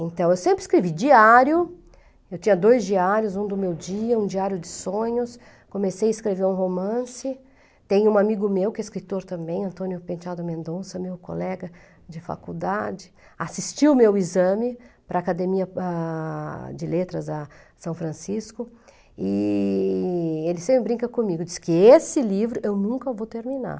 Então, eu sempre escrevi diário, eu tinha dois diários, um do meu dia, um diário de sonhos, comecei a escrever um romance, tem um amigo meu que é escritor também, Antônio Penteado Mendonça, meu colega de faculdade, assistiu meu exame para a Academia ah, de Letras a São Francisco, e ele sempre brinca comigo, diz que esse livro eu nunca vou terminar.